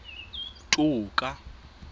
toka